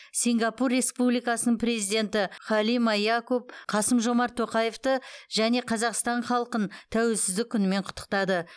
сингапур республикасының президенті халима якоб қасым жомарт тоқаевты және қазақстан халқын тәуелсіздік күнімен құттықтады